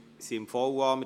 Wir sind beim VA.